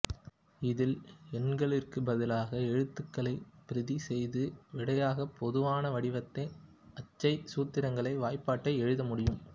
இதில் எண்களிற்குப்பதிலாக எழுத்துக்களை பிரதி செய்து விடையாக பொதுவான வடிவத்தை அச்சை சூத்திரங்களை வாய்பாட்டை எழுதமுடியும்